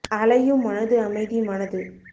அலையும் மனது அமைதி மனது